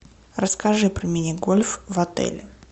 расскажи про мини гольф в отеле